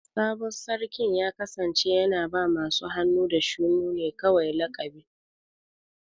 Sabon Sarkin ya kasance yana ba masu hannu da shuni ne kawai laƙabi.